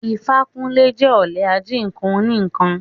Ifákúnlé jẹ́ olè ají nǹkan oní ǹkan